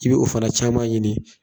K'i be'o fana caman ɲini